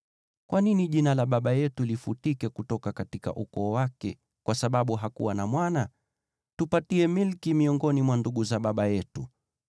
Kwa nini jina la baba yetu lifutike kutoka ukoo wake kwa sababu hakuwa na mwana? Tupatie milki miongoni mwa ndugu za baba yetu.”